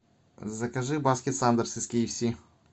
закажи баскет сандерс из ки эф си